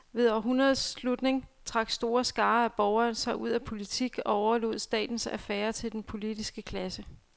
Ved århundredets slutning trak store skarer af borgere sig ud af politik og overlod statens affærer til den politiske klasse.